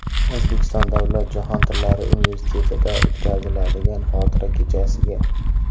O‘zbekiston davlat jahon tillari universitetida o‘tkaziladigan xotira kechasiga.